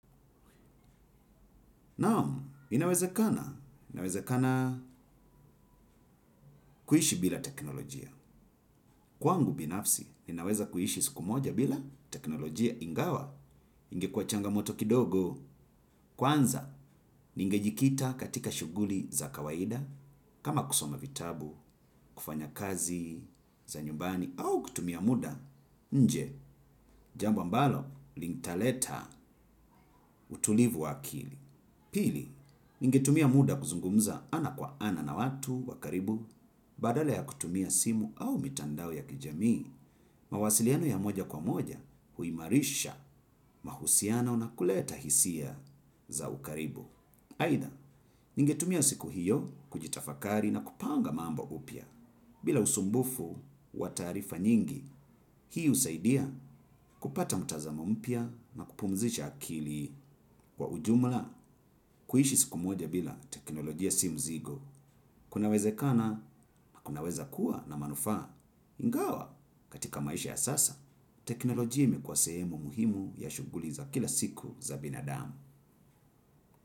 Naam, inawezakana, inawezekana kuhishi bila teknolojia. Kwangu binafsi, ninaweza kuhishi siku moja bila teknolojia ingawa, ingekua changamoto kidogo kwanza, ninge jikita katika shuguli za kawaida, kama kusoma vitabu, kufanya kazi za nyumbani, au kutumia muda nje jambo ambalo litaleta utulivu wa akili. Pili, ningetumia muda kuzungumza ana kwa ana na watu wa karibu, badala ya kutumia simu au mitandao ya kijamii, mawasiliano ya moja kwa moja huimarisha mahusiano na kuleta hisia za ukaribu. Aidha, ningetumia siku hiyo kujitafakari na kupanga mambo upya, bila usumbufu wa taarifa nyingi, hii usaidia kupata mtazamo mpya na kupumzisha akili kwa ujumla, kuishi siku moja bila teknolojia si mzigo, kunawezekana, kunaweza kuwa na manufaa, ingawa katika maisha ya sasa, teknolojia imekuwa sehemu muhimu ya shuguli za kila siku za binadamu.